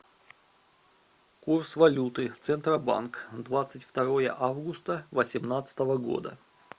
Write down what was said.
курс валюты центробанк двадцать второе августа восемнадцатого года